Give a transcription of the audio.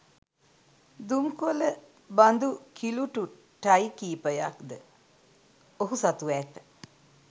දුම්කොළ බඳු කිලුටු ටයි කිහිපයක්ද ඔහු සතුව ඇත.